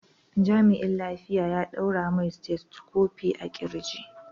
Jami'in lafiya ya ɗaura mai stethoscope a ƙirji.